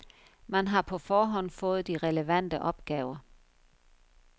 Man har på forhånd fået de relevante opgaver.